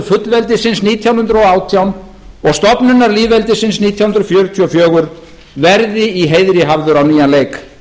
fullveldisins nítján hundruð og átján og stofnunar lýðveldisins nítján hundruð fjörutíu og fjögur verði í heiðri hafður á nýjan leik